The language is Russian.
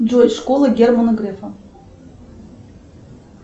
джой школа германа грефа